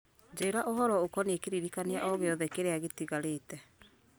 njĩra ũhoro ũkoniĩ kĩririkania o gĩothe kĩrĩa gĩtigarĩte